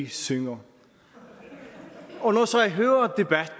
synger når